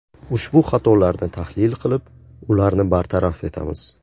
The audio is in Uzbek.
Ushbu xatolarni tahlil qilib, ularni bartaraf etamiz.